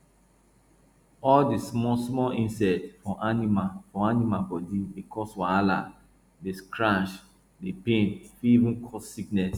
all di small small insect for animal for animal body dey cause wahala dey scratch dey pain fit even cause sickness